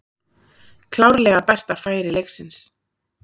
Klárlega besta færi leiksins.